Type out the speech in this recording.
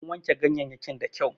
An wanke ganyeyyakin da kyau